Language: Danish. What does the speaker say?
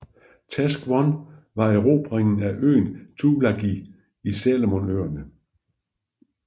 Task One var erobringen af øen Tulagi i Salomonøerne